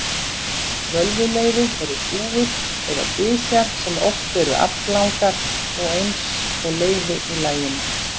Völvuleiði eru þúfur eða dysjar sem oft eru aflangar og eins og leiði í laginu.